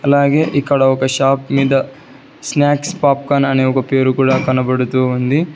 అలాగే ఇక్కడ ఒక షాప్ మీద స్నాక్స్ పాప్కాన్ అనే ఒక పేరు కూడా కనబడుతూ ఉంది.